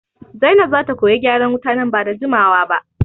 Zainab zata koyi gyaran wuta nan bada jimawa ba